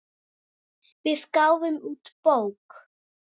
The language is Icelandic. Við gáfum út bók.